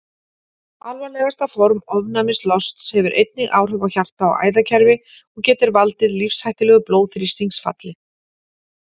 Alvarlegasta form ofnæmislosts hefur einnig áhrif á hjarta- og æðakerfi og getur valdið lífshættulegu blóðþrýstingsfalli.